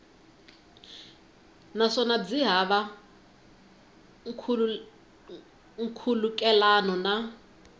naswona byi hava nkhulukelano na